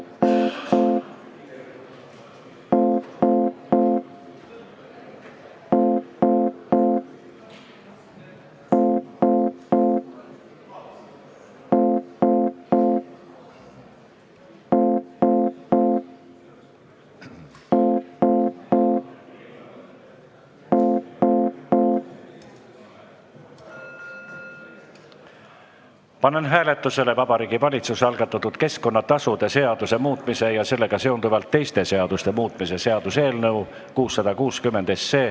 Panen hääletusele Vabariigi Valitsuse algatatud keskkonnatasude seaduse muutmise ja sellega seonduvalt teiste seaduste muutmise seaduse eelnõu 660.